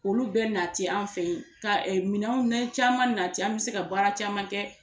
Olu bɛɛ nati an fɛ yen ka minɛn caman nati an bɛ se ka baara caman kɛ.